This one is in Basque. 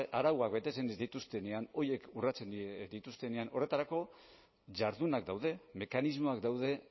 arauak betetzen ez dituztenean horiek urratzen dituztenean horretarako jardunak daude mekanismoak daude